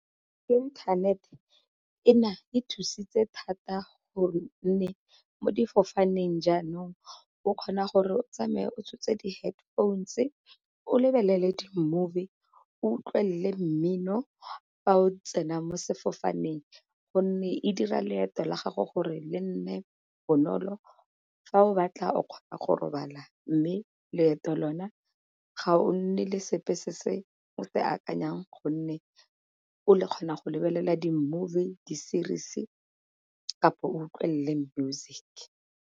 Internet ena e thusitse thata gonne mo difofaneng jaanong o kgona gore o tsamae o tshotse di-head phones o lebelele di-movie, o utlwelele mmino, fa o tsena mo sefofaneng gonne e dira leeto la gago gore le nne bonolo fa o batla o kgona go robala. Mme leeto lona ga o nne le sepe se se o se akanyang gonne o kgona go lebelela di-movie di-series kapo o utlwelele music.